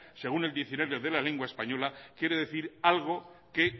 según el diccionario de la lengua española quiere decir algo que